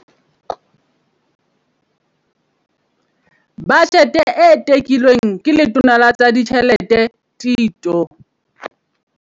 Bajete e tekilweng ke Letona la tsa Ditjhelete Tito